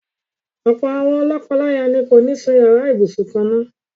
Ọ̀pọ̀ àwọn lọ́kọláya ni kò ní sún yàrá ibùsùn kan-ná-àn.